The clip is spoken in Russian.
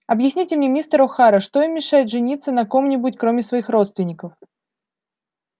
объясните мне мистер охара что им мешает жениться на ком-нибудь кроме своих родственников